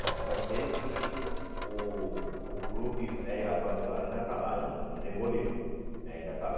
Bom, só sei que o o clube velho abandonado ainda está lá ainda, não demoliram né, ainda está lá.